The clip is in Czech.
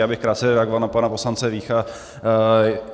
Já bych krátce reagoval na pana poslance Vícha.